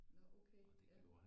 Nå okay ja